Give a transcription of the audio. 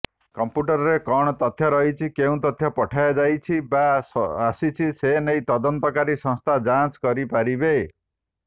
କଂପ୍ୟୁଟରରେ କଣ ତଥ୍ୟ ରହିଛି କେଉଁ ତଥ୍ୟ ପଠାଯାଇଛି ବା ଆସିଛି ସନେଇ ତଦନ୍ତକାରୀ ସଂସ୍ଥା ଯାଞ୍ଚ କରିପାରିବେ